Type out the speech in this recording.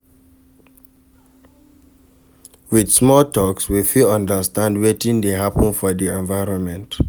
With small talks we fit understand wetin de happen for the environment